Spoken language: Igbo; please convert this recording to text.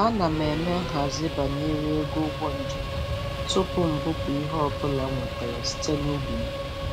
Ana m eme.nhazi banyere ego ụgbọ njem tupu m bupụ ihe ọbụla m nwetara site n'ubi m.